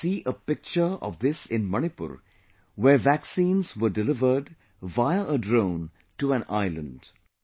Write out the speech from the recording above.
We got to see a picture of this in Manipur, where vaccines were delivered via a drone to an island